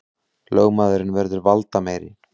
Lögmaðurinn verður valdameiri